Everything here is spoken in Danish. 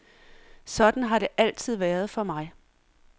Sådan har det altid været for mig.